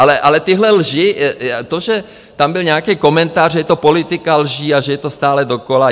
Ale tyhle lži, to, že tam byl nějaký komentář, že je to politika lží a že je to stále dokola.